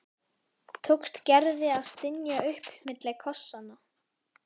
tókst Gerði að stynja upp milli kossanna.